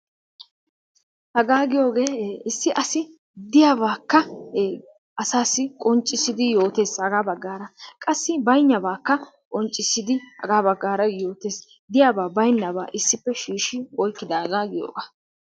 Hagaa giyogee issi asi diyabaakka ee asaassi qonccissidi yootees hagaa baggaara. Qassi baynnabaakka qonccissidi hagaa baggaara yootees. Diyabaa baynnabaa issippe shiishi oykkidaagaa giyogaa.